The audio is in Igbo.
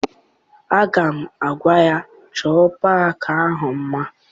Aga m agwa ya, chọọ paakị ahụ mma!